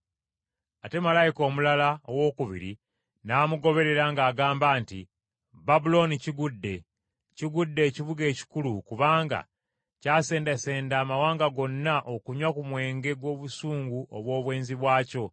Ate malayika omulala owookubiri n’amugoberera ng’agamba nti, “Babulooni kigudde! Kigudde, ekibuga ekikulu, kubanga kyasendasenda amawanga gonna okunywa ku nvinnyo y’obusungu obw’obwenzi bwakyo.”